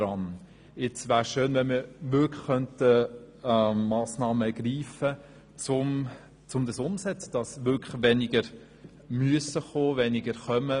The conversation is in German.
Es wäre schön, wenn man wirklich Massnahmen ergreifen könnte, damit weniger Leute kommen müssten.